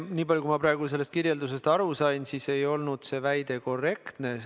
Nii palju, kui ma praegu sellest kirjeldusest aru sain, ei olnud see väide korrektne.